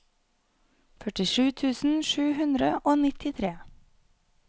førtisju tusen sju hundre og nittitre